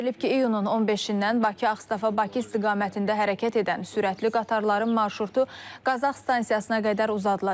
Bildirilib ki, iyunun 15-dən Bakı-Ağstafa-Bakı istiqamətində hərəkət edən sürətli qatarların marşrutu Qazax stansiyasına qədər uzadılacaq.